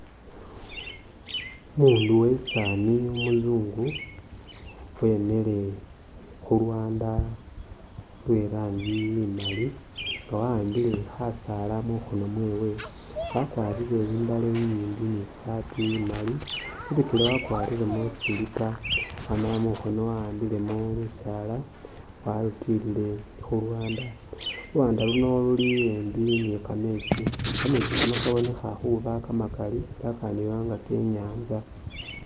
Umundu uwe sani umuzungu wemikhile khulwanda lwe rangi imali nga wa'ambile khasala mukhono mwewe, wakwarire imbale inyimbi ni sati imali, mubikyele wakwariremo slipper amala mu mukhono wa'ambilemo lusala walutilile khulwanda, lu lwanda luno luli embi ni kametsi, kametsi kano kabonekha khuna kama kali ela kandiba nga ke inyanza.